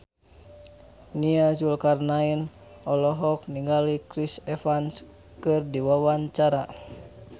Nia Zulkarnaen olohok ningali Chris Evans keur diwawancara